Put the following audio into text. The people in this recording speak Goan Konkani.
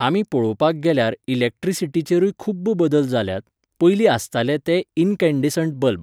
आमी पळोवपाक गेल्यार इलेक्ट्रिसिटीचेरुय खुब्ब बदल जाल्यात, पयली आसताले ते इनकैंडीसेंट बल्ब.